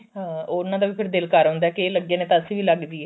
ਹਾਂ ਉਹਨਾ ਦਾ ਵੀ ਫੇਰ ਦਿਲ ਕਰ ਆਉਂਦਾ ਕਿ ਇਹ ਲੱਗੇ ਨੇ ਤਾਂ ਅਸੀਂ ਵੀ ਲੱਗ ਜੀਏ